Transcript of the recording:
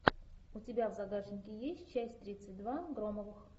у тебя в загашнике есть часть тридцать два громовых